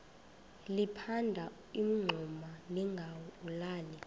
liphanda umngxuma lingawulali